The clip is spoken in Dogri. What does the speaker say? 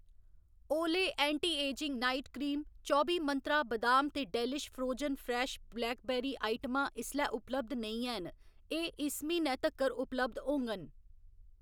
ओले ऐंटी एजिंग नाइट क्रीम, चौबी मंत्रा बदाम ते डेलिश फ्रोजन फ्रैश ब्लैकबेरी आइटमां इसलै उपलब्ध नेईं हैन, एह्‌‌ इस म्हीनै तक्कर उपलब्ध होङन